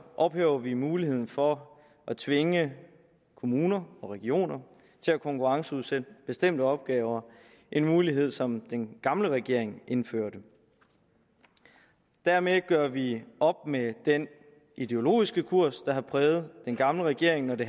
ophæver vi muligheden for at tvinge kommuner og regioner til at konkurrenceudsætte bestemte opgaver en mulighed som den gamle regering indførte dermed gør vi op med den ideologiske kurs der har præget den gamle regering når det